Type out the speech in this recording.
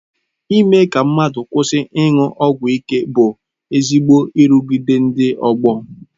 Ime ka mmadụ kwụsị ịṅụ ọgwụ ịke bụ ezigbo nrụgide ndị ọgbọ.